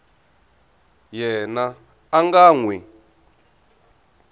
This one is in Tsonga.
yena a nga n wi